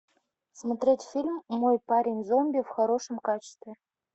смотреть фильм мой парень зомби в хорошем качестве